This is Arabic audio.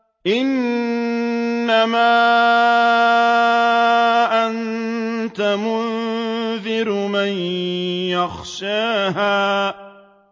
إِنَّمَا أَنتَ مُنذِرُ مَن يَخْشَاهَا